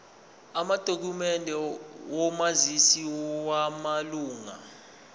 amadokhumende omazisi wamalunga